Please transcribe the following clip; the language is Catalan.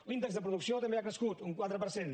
l’índex de producció també ha crescut un quatre per cent